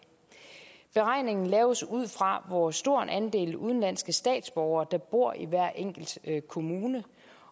beregningen laves ud fra hvor stor en andel udenlandske statsborgere der bor i hver enkelt kommune